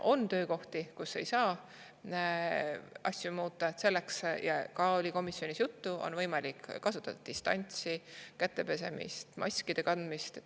On töökohti, kus ei saa asju muuta, ja sellest oli ka komisjonis juttu, et on võimalik distantsi, pesta käsi ja kanda maski.